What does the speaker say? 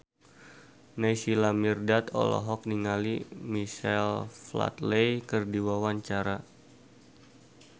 Naysila Mirdad olohok ningali Michael Flatley keur diwawancara